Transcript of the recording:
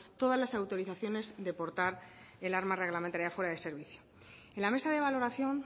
todas las autorizaciones de portar el arma reglamentaria fuera de servicio en la mesa de valoración